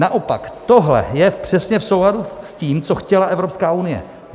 Naopak tohle je přesně v souladu s tím, co chtěla Evropská unie.